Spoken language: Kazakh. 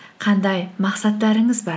қандай мақсаттарыңыз бар